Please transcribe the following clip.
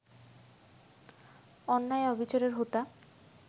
অন্যায়-অবিচারের হোতা